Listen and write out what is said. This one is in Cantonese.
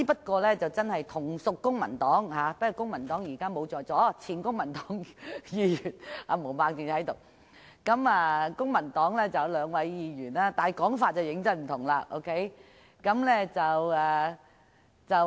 可是，同屬公民黨——他們現時不在席，只有前公民黨議員毛孟靜議員在席——有兩位議員的說法便相當不同。